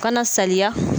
Kana saliya